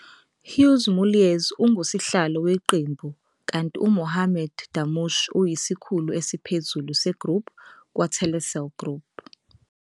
Hugues Mulliez unguSihlalo Weqembu kanti Mohamad Damush uyiSikhulu Esiphezulu se-Group kwa-Telecel Group.